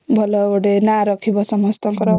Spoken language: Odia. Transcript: ଭଲ ଗୋଟେ ନାଁ ରଖିବା ସମସ୍ତଙ୍କର